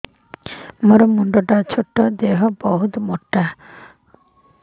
ମୋର ମୁଣ୍ଡ ଛୋଟ ଦେହ ବହୁତ ମୋଟା